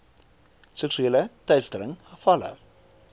seksuele teistering gevalle